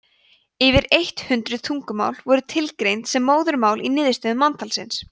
yfir eitt hundruð tungumál voru tilgreind sem móðurmál í niðurstöðum manntalsins